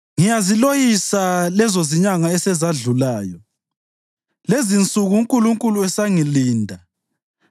“Ngiyaziloyisa lezozinyanga esezadlulayo, lezinsuku uNkulunkulu esangilinda,